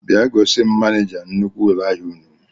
Bịa gosim manija nnukwu ụlọ ahịa ụnụ